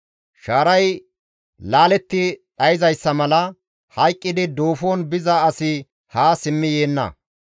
Shaaray laaletti dhayzayssa mala hayqqidi duufon biza asi haa simmidi yeenna.